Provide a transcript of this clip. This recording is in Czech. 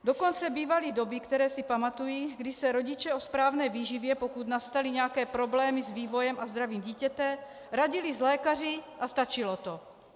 Dokonce bývaly doby, které si pamatuji, kdy se rodiče o správné výživě, pokud nastaly nějaké problémy s vývojem a zdravím dítěte, radili s lékaři a stačilo to.